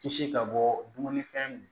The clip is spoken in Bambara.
Kisi ka bɔ dumunifɛn